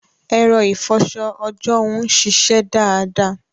Ẹ̀rọ ìfọṣọ ọjọ́hun ṣiṣẹ́ dáadáa.